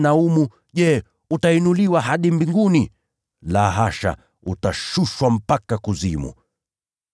Nawe, Kapernaumu, je, utainuliwa hadi mbinguni? La hasha, utashushwa mpaka kuzimu.”